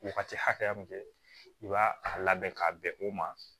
Wagati hakɛya min kɛ i b'a a labɛn k'a bɛn o ma